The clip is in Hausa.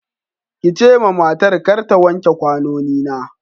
ki ce ma matar kar ta wanke ƙwanoni na.